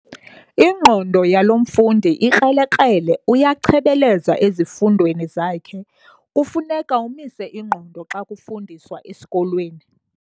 Ingqondo yalo mfundi ikrelekrele uyachebeleza ezifundweni zakhe. kufuneka umise ingqondo xa kufundiswa esikolweni